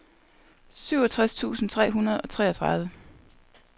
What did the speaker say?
syvogtres tusind tre hundrede og treogtredive